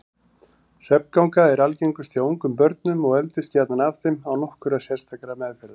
Svefnganga er algengust hjá ungum börnum og eldist gjarnan af þeim án nokkurrar sérstakrar meðferðar.